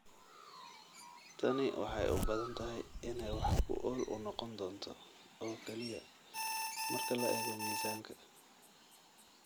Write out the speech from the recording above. Tani waxay u badan tahay inay wax ku ool u noqon doonto oo kaliya marka la eego miisaanka.